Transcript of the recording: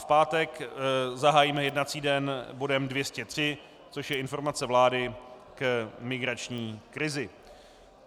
V pátek zahájíme jednací den bodem 203, což je informace vlády k migrační krizi.